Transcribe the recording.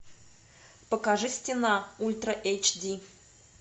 покажи стена ультра эйч ди